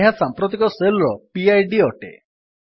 ଏହା ସାମ୍ପ୍ରତିକ ଶେଲ୍ ର ପିଡ୍ ଅଟେ